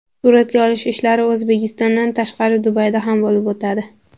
Suratga olish ishlari O‘zbekistondan tashqari Dubayda ham bo‘lib o‘tadi.